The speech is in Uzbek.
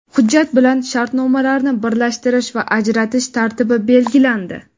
Hujjat bilan shartnomalarni birlashtirish va ajratish tartibi belgilandi.